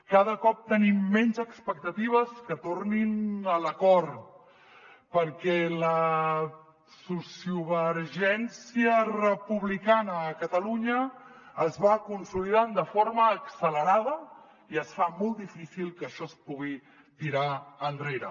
cada cop tenim menys expectatives que tornin a l’acord perquè la sociovergència republicana a catalunya es va consolidant de forma accelerada i es fa molt difícil que això es pugui tirar enrere